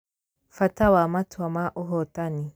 Bata wa Matua ma Ũhotani